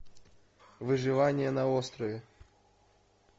выживание на острове